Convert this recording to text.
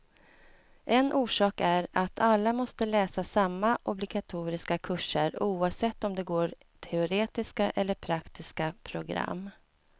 En orsak är att alla måste läsa samma obligatoriska kurser, oavsett om de går teoretiska eller praktiska program.